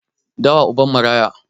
Dawa uban maraya